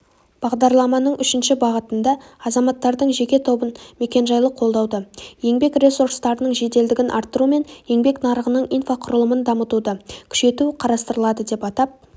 бағдарламаның үшінші бағытында азаматтардың жеке тобын мекенжайлық қолдауды еңбек ресурстарының жеделдігін арттыру мен еңбек нарығының инфрақұрылымын дамытуды күшейту қарастырылады деп атап